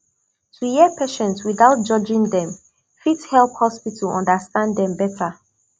to hear patient without judging dem fit help hospital understand dem better